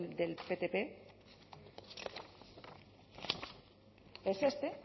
del ptp es este